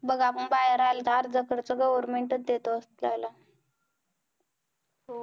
बघ आपण बाहेर आलो तर अर्धा खर्च government च देतो आपल्याला